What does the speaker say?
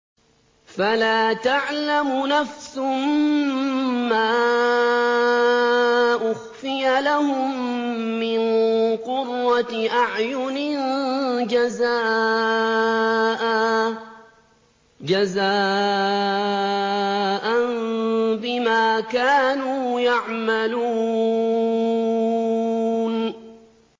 فَلَا تَعْلَمُ نَفْسٌ مَّا أُخْفِيَ لَهُم مِّن قُرَّةِ أَعْيُنٍ جَزَاءً بِمَا كَانُوا يَعْمَلُونَ